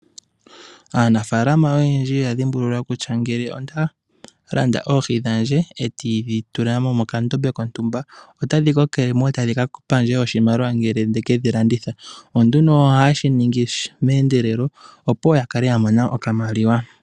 Aanafaalama oyendji oya dhimbulula kutya ngele ondalanda oohi dhandje e tandi dhi tula mokandombe kontumba otadhi kokele mo etadhi ka pa ndje oshimaliwa ngele nde kedhi landitha. Ohaye shi ningi me endelelo opo ya kale ya mona okamaliwa.